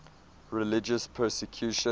religious persecution